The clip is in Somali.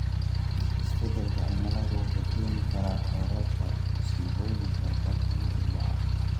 Isbedelka cimilada wuxuu keeni karaa kororka musiibooyinka dabiiciga ah.